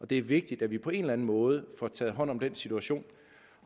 det er vigtigt at vi på en eller en måde får taget hånd om den situation